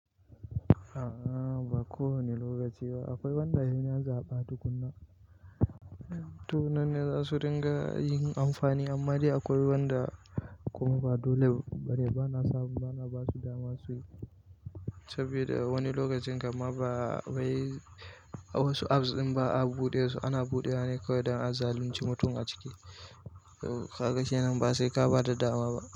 A'a ba ko wane lokaci ba. Akwai wanda inya zaɓa tukuna, to nan ne za su riƙa yin amfani. Imma dai akwai wanda kuma ba dole ba dai ba na samu, ba na ba su dama su yi saboda wani lokacin kamma ba wai wasu apps in ba a buɗe su, ana buɗe wa ne kawai don a zalunci mutum a ciki. Kaga shi nan ba sai ka ba da dama ba.